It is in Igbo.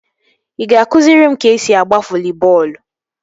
Ị ga-akụziri m ka esi agba voli bọọlụ?